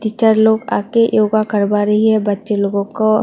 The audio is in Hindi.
टीचर लोग आ के योगा करवा रही है बच्चे लोगों को।